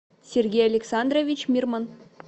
сергей александрович мирман